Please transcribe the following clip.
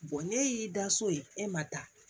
ne y'i da so ye e ma taa